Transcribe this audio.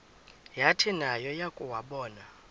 yathi nayo yakuwabona